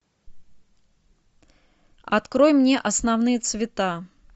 открой мне основные цвета